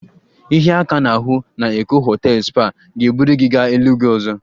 Ịhịa aka n'ahụ na Eko hotels spa ga-eburu gị gaa eluigwe ọzọ